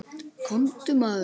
Komdu maður.